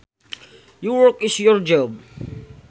Your work is your job